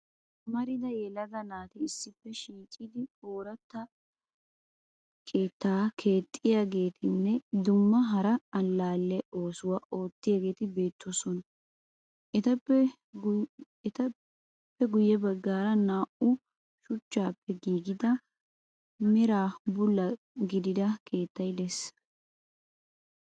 Amarattida yelaga naati issippe shiiqidi ooratta keettaa keexxiyageetinne dumma hara allaalle oosuwa ottiyageeti beettoosona. Etappe guyye baggaara naa'u shuchchaappe giigida meraa bulla gidida keettayi de'ees.